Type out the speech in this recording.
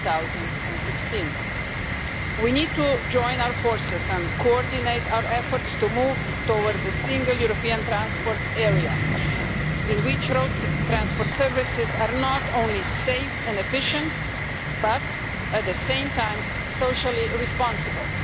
2016. We need to join our forces and coordinate our efforts to move towards a single European transport area in which road transport services are not only safe and efficient, but at the same time socially responsible.